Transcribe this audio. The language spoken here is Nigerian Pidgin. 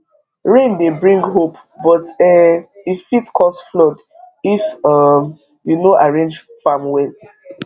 rain dey bring hope but um e fit cause flood if um you no arrange farm well